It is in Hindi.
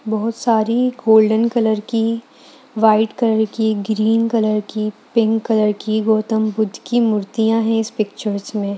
बहुत सारी गोल्डन कलर की वाइट कलर की ग्रीन कलर की पिंक कलर की गौतम बुद्ध की मूर्तियां है इस पिक्चर्स में।